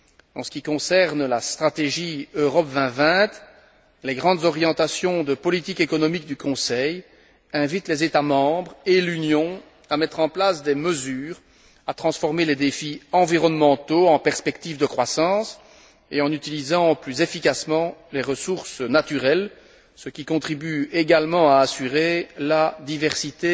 En ce qui concerne la stratégie Europe 2020, les grandes orientations de politique économique du Conseil invitent les États membres et l'Union à mettre en place des mesures, à transformer les défis environnementaux en perspectives de croissance et à utiliser plus efficacement les ressources naturelles, contribuant ainsi également à assurer la diversité